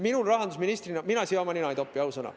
Mina rahandusministrina siia oma nina ei topi, ausõna.